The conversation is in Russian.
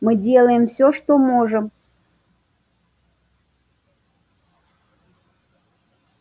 мы делаем всё что можем